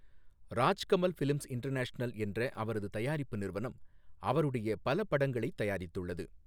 Rajkamal films international என்ற அவரது தயாரிப்பு நிறுவனம் அவருடைய பல படங்களைத் தயாரித்துள்ளது.